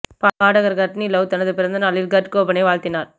பாடகர் Courtney Love தனது பிறந்த நாளில் கர்ட் கோபனை வாழ்த்தினார்